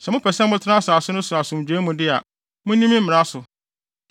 “ ‘Sɛ mopɛ sɛ motena asase no so asomdwoe mu de a, munni me mmara so.